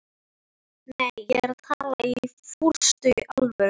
Nei, ég er að tala í fúlustu alvöru